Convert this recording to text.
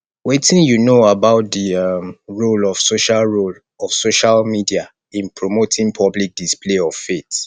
wetin you know about di um role of social role of social media in promoting public display of faith